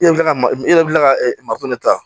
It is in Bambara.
I yɛrɛ bi kila ka ma i yɛrɛ bi kila ka makɔnɔ ta